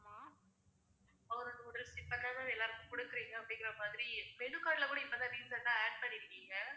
ஒரு noodles இப்பதான் எல்லாருக்கும் குடுக்குறீங்க அப்பிடிங்குறமாதிரி menu card ல கூட இப்ப தான் recent ஆ add பண்ணிருக்கீங்க